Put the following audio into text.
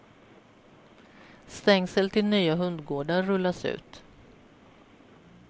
Stängsel till nya hundgårdar rullas ut.